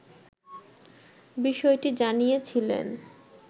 বিষয়টি জানিয়েছিলেন